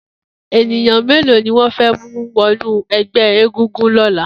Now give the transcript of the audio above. Éniyàn méló niwọn fè mú wọ̀nú ẹgbẹ égúngún lọ̀lá?